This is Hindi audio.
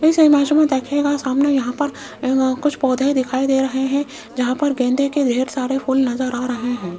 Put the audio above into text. इस इमेज मे देखियेगा सामने यहाँ पर कुछ पौधे दिखाई दे रहे हैं जहाँ पर गेंदे के ढेर सारे फूल नजर आ रहे हैं।